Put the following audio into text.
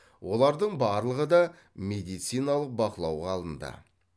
олардың барлығы да медициналық бақылауға алынды